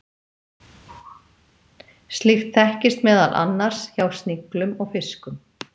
Slíkt þekkist meðal annars hjá sniglum og fiskum.